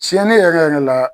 Cɛne yɛrɛ yɛrɛ la